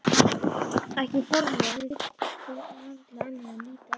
Ekki formleg en þeir þurftu varla annað en líta inn.